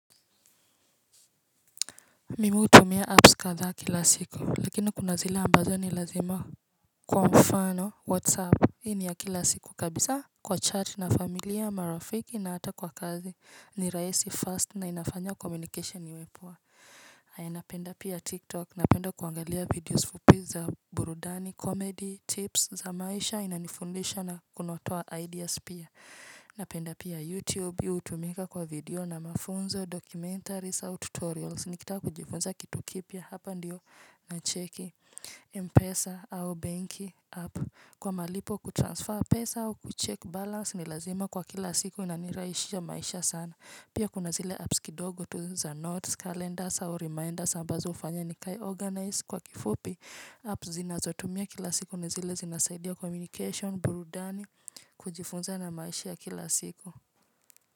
Mimu hutumia apps kadhaab kila siku lakini kuna zile ambazo ni lazima kwa mfano whatsapp Hii ni ya kila siku kabisa kwa chat na familia marafiki na hata kwa kazi ni rahisi fast na inafanya communication owe poa Aya napenda pia tik tok napenda kuangalia videos fupi za burudani comedy tips za maisha inanifundisha na kunotoa ideas pia na penda pia YouTube, hutumika kwa video na mafunzo, documentaries au tutorials Nikitaka kujifunza kitu kipya, hapa ndiyo na cheki Mpesa au banki app Kwa malipo kutransfer pesa au kuchek balance ni lazima kwa kila siku na niraishisha maisha sana Pia kuna zile apps kidogo tu za notes, calendars au reminders ambazo ufanya ni kae organize kwa kifupi Apps zinazotumia kila siku ni zile zinasaidia communication, burudani kujifunza na maishi ya kila siku.